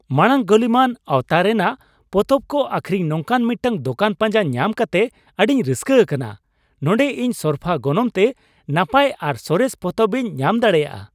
ᱢᱟᱲᱟᱝ ᱜᱟᱹᱞᱤᱢᱟᱱ ᱟᱣᱛᱟᱨᱮᱱᱟᱜ ᱯᱚᱛᱚᱵ ᱠᱚ ᱟᱹᱠᱷᱨᱤᱧ ᱱᱚᱝᱠᱟᱱ ᱢᱤᱫᱴᱟᱝ ᱫᱚᱠᱟᱱ ᱯᱟᱸᱡᱟ ᱧᱟᱢ ᱠᱟᱛᱮ ᱟᱹᱰᱤᱧ ᱨᱟᱹᱥᱠᱟᱹ ᱟᱠᱟᱱᱟ ᱾ ᱱᱚᱰᱮ ᱤᱧ ᱥᱚᱨᱯᱷᱟ ᱜᱚᱱᱚᱝᱛᱮ ᱱᱟᱯᱟᱭ ᱟᱨ ᱥᱚᱨᱮᱥ ᱯᱚᱛᱚᱵ ᱤᱧ ᱧᱟᱢ ᱫᱟᱲᱣᱭᱟᱜᱼᱟ ᱾